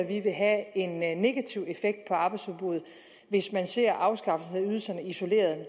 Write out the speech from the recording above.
vi vil have en negativ effekt på arbejdsudbuddet hvis man ser afskaffelsen af ydelserne isoleret det